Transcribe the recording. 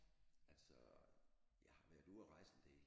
Altså jeg har været ude at rejse en del